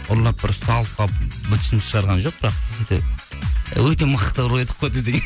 ұрлап бір ұсталып қалып бытышымызды шығарған жоқ бірақ десе де өте мықты ұры едік қой десең